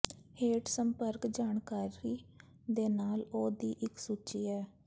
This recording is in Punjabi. ਹੇਠ ਸੰਪਰਕ ਜਾਣਕਾਰੀ ਦੇ ਨਾਲ ਉਹ ਦੀ ਇੱਕ ਸੂਚੀ ਹੈ